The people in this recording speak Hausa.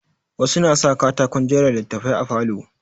Wasu na sa katakon jera littattafai a falo.